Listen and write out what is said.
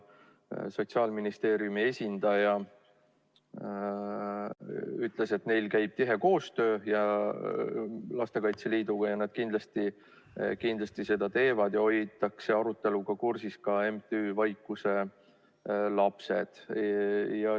Sotsiaalministeeriumi esindaja ütles, et neil käib tihe koostöö Lastekaitse Liiduga ja nad kindlasti seda teevad ning aruteluga hoitakse kursis ka MTÜ-d Vaikuse Lapsed.